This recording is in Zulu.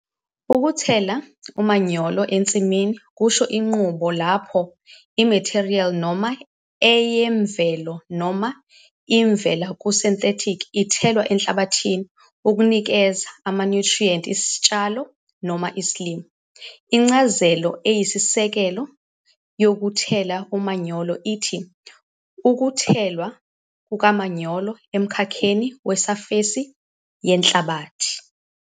Ukuthela umanyolo ensimini kusho inqubo lapho imethiriyeli noma eyemvelo noma ivela ku -synthetic ithelwa enhlabathini ukunikeza amanyuthriyrnti isitshalo noma isilimo. Incazelo eyisisekelo yokuthela umanyolo ithi ukuthelwa kukamanyolo emkhakheni wesafesi yenhlabathi.